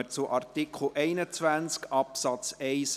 Wir kommen zu Artikel 21 Absatz 1a.